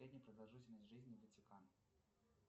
средняя продолжительность жизни ватикан